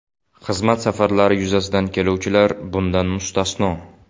Xizmat safarlari yuzasidan keluvchilar bundan mustasno.